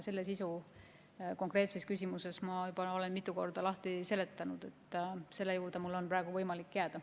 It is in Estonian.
Selle sisu olen ma juba mitu korda lahti seletanud ja selle juurde on mul praegu võimalik jääda.